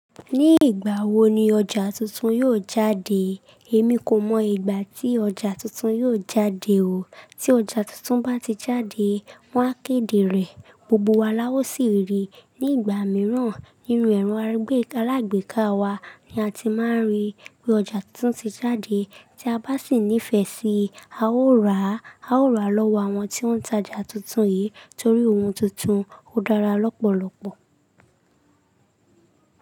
Ní ìgbà wo ni ọjà tuntun yóò jáde? Èmi kò mọ ìgbà tí ọjà tuntun yóò jáde o. Tí ọjà tuntun bá ti jáde, wọ́n á kéde rẹ̀, gbogbo wa lá ọ̀ sì rí i. Ní ìgbà mìíràn, nínu ẹ̀rọ alágbèéká wa ni a ti máa rí i pé ọjà tuntun ti jáde. Tí a bá sì nífẹ̀ẹ́ sí i, a ó rà. A ó rà lọ́wọ́ àwọn tí wọ́n ta ọjà tuntun yìí torí ohun tuntun ó dára lọ́pọ̀lọpọ̀.